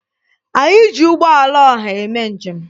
Anyị ji ụgbọala ọha eme njem.